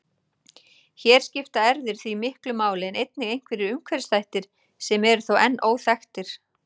Hér skipta erfðir því miklu máli en einnig einhverjir umhverfisþættir sem eru þó enn óþekktir.